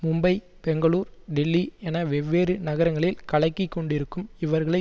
மும்பை பெங்களூர் டெல்லி என வெவ்வேறு நகரங்களில் கலக்கிக் கொண்டிருக்கும் இவர்களை